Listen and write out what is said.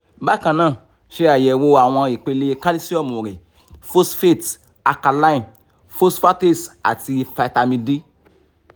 bakannaa ṣe ayẹwo awọn ipele kalisiomu rẹ phosphate alkaline phosphatase ati vitamin d